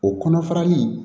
O kɔnɔ farali